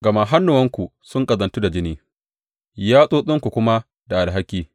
Gama hannuwanku sun ƙazantu da jini, yatsotsinku kuma da alhaki.